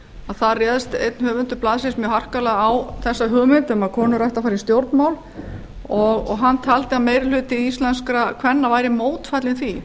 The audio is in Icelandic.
að þar réðst einn höfundur blaðsins mjög harkalega á þessa hugmynd um að konur ættu að fara í stjórnmál og hann taldi að meiri hluti íslenskra kvenna væri mótfallinn því